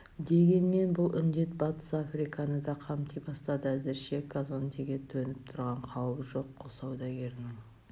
дегенмен бұл індет батыс африканы да қамти бастады әзірше казондеге төніп тұрған қауіп жоқ құл саудагерінің